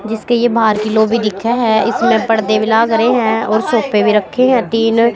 जिसके ये भाहर की लाबी देखे है इसमें परदे भी लाग रह है ओर सोफ़े भी रखे है तीन।